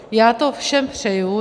Já to všem přeji.